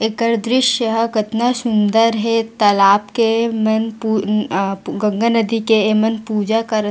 एकर दृस्य ह कतना सुन्दर हे तालाब के मन पु अ अ गंगा नदी के अ मन पूजा करत--